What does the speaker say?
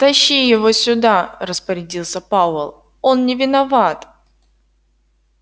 тащи его сюда распорядился пауэлл он не виноват